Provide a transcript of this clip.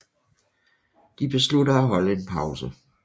De beslutter at holde en pause